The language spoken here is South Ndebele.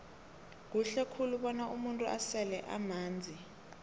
kuhle khulu bona umuntu asele amanzi